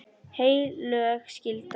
Heilög skylda.